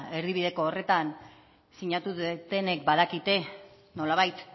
erdibideko horretan sinatu dutenek badakite nolabait